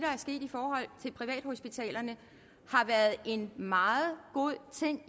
er sket i forhold til privathospitalerne har været en meget god ting